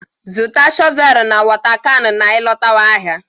Zụta shọvel na wota kan na ị lọtaba ahịa!